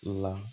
La